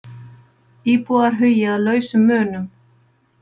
Íbúar hugi að lausum munum